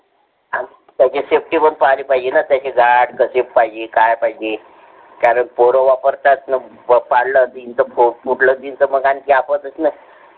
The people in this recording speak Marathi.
तयाचा safety वर पलयजा पाहीजे ना पाहिजे काय पाहिजे कारण पोर वापरतात. बोट पाडल पोट फुटल की आणखी आपतस न.